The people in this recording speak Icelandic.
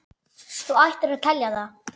Þú ættir að telja það.